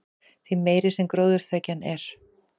því meiri sem gróðurþekjan er